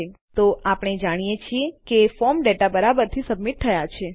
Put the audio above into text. ઠીક છે તો આપણે જાણીએ છીએ કે ફોર્મ ડેટા બરાબરથી સબમિટ થયા છે